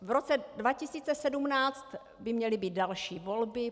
V roce 2017 by měly být další volby.